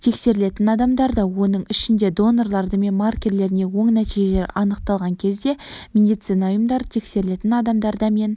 тексерілетін адамдарда оның ішінде донорларда мен маркерлеріне оң нәтижелер анықталған кезде медицина ұйымдары тексерілетін адамдарда мен